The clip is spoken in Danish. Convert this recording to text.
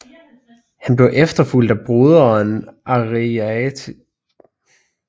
Han blev efterfulgt af broderen Ariarathes 10